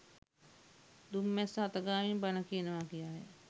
දුම් මැස්ස අත ගාමින් බණ කියනවා කියාය.